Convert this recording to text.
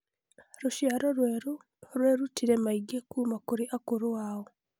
Rũciaro rwerũ rwerutire maingĩ kuuma kũrĩ akũrũ ao.